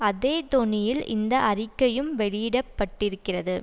அதே தொனியில் இந்த அறிக்கையும் வெளியிட பட்டிருக்கிறது